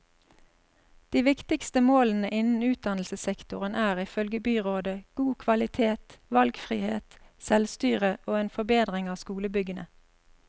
De viktigste målene innen utdannelsessektoren er, ifølge byrådet, god kvalitet, valgfrihet, selvstyre og en forbedring av skolebyggene.